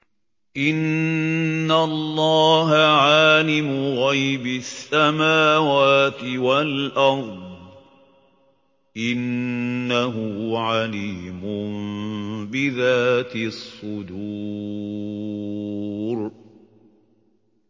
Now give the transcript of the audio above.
إِنَّ اللَّهَ عَالِمُ غَيْبِ السَّمَاوَاتِ وَالْأَرْضِ ۚ إِنَّهُ عَلِيمٌ بِذَاتِ الصُّدُورِ